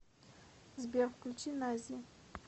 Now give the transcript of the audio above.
сбер включи наззи